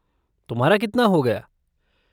तुम्हारा कितना हो गया?